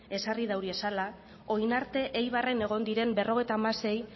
ezarri dauriezala orain arte eibarren egon diren berrogeita hamasei